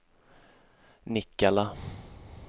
Nikkala